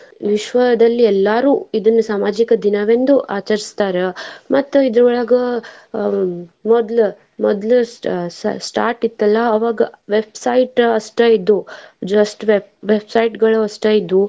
ವಿಶ್ವದಲ್ಲಿ ಎಲ್ಲಾರು ಇದನ್ ಸಾಮಾಜಿಕ ದಿನವೆಂದು ಆಚರಿಸ್ತಾರ ಮತ್ತ್ ಇದ್ರೋಳಗ ಅಹ್ ಮೊದ್ಲ ಮೊದ್ಲ ಎಷ್ಟ್ start ಇತ್ತಲಾ ಅವಾಗ web site ಅಷ್ಟ ಇದ್ವು just web site ಗಳಷ್ಟ ಇದ್ವು.